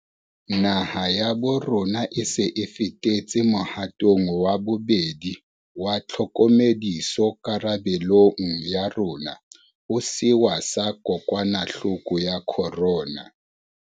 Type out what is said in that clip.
Naha ya bo rona e se e fetetse mohatong wa bobedi wa tlhokomediso karabe long ya rona ho sewa sa kokwanahloko ya corona.